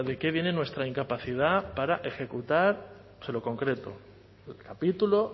qué viene nuestra incapacidad para ejecutar se lo concreto el capítulo